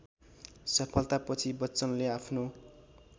सफलतापछि बच्चनले आफ्नो